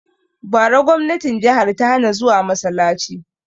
Bara gwamnatin jihar ta hana zuwa masalaci!